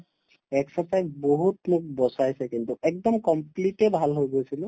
exercise বহুত মোক বচাইছে কিন্তু একদম complete য়ে ভাল হৈ গৈছিলো